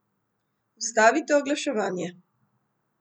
Ustavite oglaševanje.